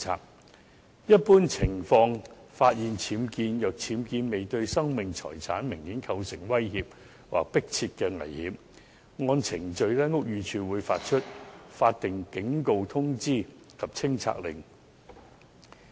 在一般情況下，如果僭建物未對生命財產明顯構成威脅或迫切危險，屋宇署會發出法定警告通知及清拆令。